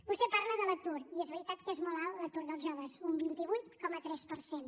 vostè parla de l’atur i és veritat que és molt alt l’atur dels joves un vint vuit coma tres per cent